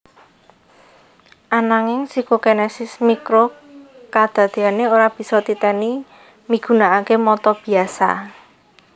Ananging Psikokinesis mikro kadadeané ora bisa titeni migunakaké mata biasa